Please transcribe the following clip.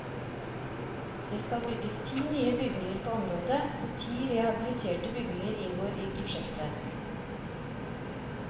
Det skal bygges ti nye bygninger på området, og ti rehabiliterte bygninger inngår i prosjektet.